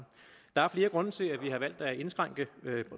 der er flere grunde til at vi har valgt at indskrænke